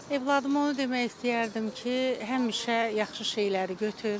Övladıma onu demək istəyərdim ki, həmişə yaxşı şeyləri götür.